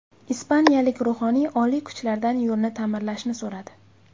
Ispaniyalik ruhoniy oliy kuchlardan yo‘lni ta’mirlashni so‘radi.